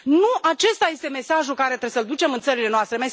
Nu acesta este mesajul pe care trebuie să l ducem în țările noastre.